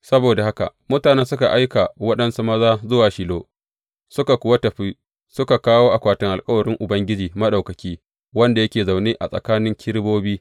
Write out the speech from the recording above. Saboda haka mutanen suka aika waɗansu maza zuwa Shilo, suka kuwa tafi suka kawo akwatin alkawarin Ubangiji Maɗaukaki wanda yake zaune tsakanin Kerubobi.